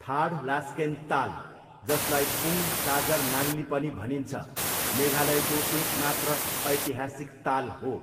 थाडलास्केन ताल, जसलाई पुङ साजर नाङ्ली पनि भनिन्छ, मेघालयको एक मात्र ऐतिहासिक ताल हो।